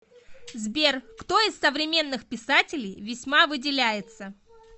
сбер кто из современных писателей весьма выделяется